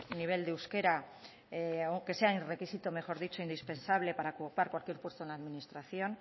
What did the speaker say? nivel de euskera aunque sea el requisito mejor dicho indispensable para ocupar cualquier puesto en la administración